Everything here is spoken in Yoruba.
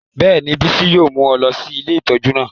Bẹ́ẹ̀ni, Bisi yóò mu ọ lọ si ìlé itọju naa